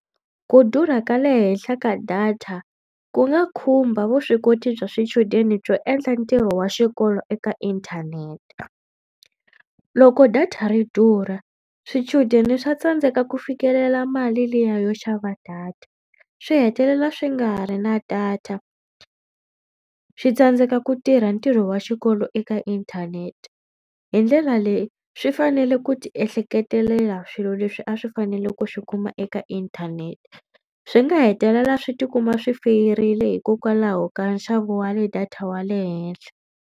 Ku durha ka le henhla ka data ku nga khumba vuswikoti bya swichudeni byo endla ntirho wa xikolo eka inthanete. Loko data ri durha swichudeni swa tsandzeka ku fikelela mali liya yo xava data. Swi hetelela swi nga ha ri na data swi tsandzeka ku tirha ntirho wa xikolo eka inthanete. Hi ndlela leyi swi fanele ku tiehleketelela swilo leswi a swi fanele ku swi kuma eka inthanete. Swi nga hetelela swi tikuma swi feyirile hikokwalaho ka nxavo wa le data wa le henhla.